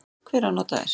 Hver á nota þær?